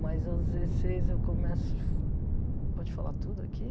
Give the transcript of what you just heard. Mas aos dezesseis eu começo... Pode falar tudo aqui?